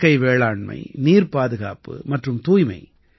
இயற்கை வேளாண்மை நீர்பாதுகாப்பு மற்றும் தூய்மை